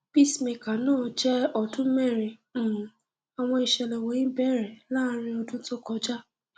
cs] pacemaker náà jẹ ọdún merin um àwọn ìṣẹlẹ wọnyí bẹrẹ láàrin ọdún tó kọjá